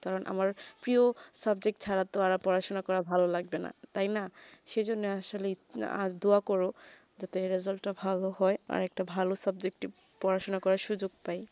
কারণ আমার প্রিয় subject ছাড়া তো আর পড়াশোনা করা ভালো লাগবে না তাই না সেজন্যে আসলে আর দুআ করো যে result তা ভালো হয়ে আর একটা ভালো subject টি পড়াশোনা করা সুযোগ প্রায়ই